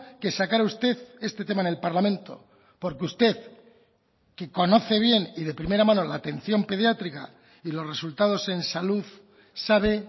que sacara usted este tema en el parlamento porque usted que conoce bien y de primera mano la atención pediátrica y los resultados en salud sabe